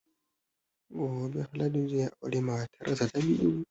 Gobe Haladu zai aure matar sa ta biyu